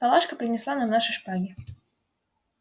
палашка принесла нам наши шпаги